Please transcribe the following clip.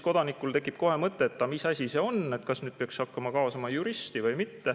Kodanikul tekib kohe mõte, et mis asi see on, kas nüüd peaks hakkama kaasama juristi või mis.